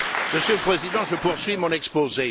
Monsieur le Président, je poursuis mon exposé.